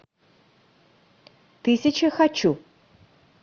тысяча хочу